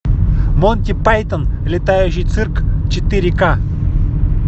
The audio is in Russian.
монти пайтон летающий цирк четыре ка